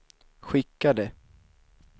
skickade